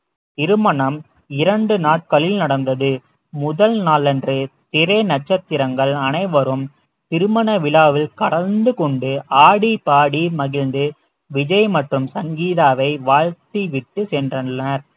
திருமணம் இரண்டு நாட்களில் நடந்தது முதல் நாளன்று திரை நட்சத்திரங்கள் அனைவரும் திருமண விழாவில் கலந்து கொண்டு ஆடிப்பாடி மகிழ்ந்து விஜய் மற்றும் சங்கீதாவை வாழ்த்தி விட்டு சென்றனர்